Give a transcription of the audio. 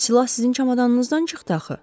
Silah sizin çamadanınızdan çıxdı axı.